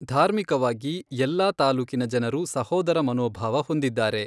ಧಾರ್ಮೀಕವಾಗಿ ಎಲ್ಲಾ ತಾಲ್ಲುಕಿನ ಜನರು ಸಹೋದರ ಮನೋಭಾವ ಹೊಂದಿದ್ದಾರೆ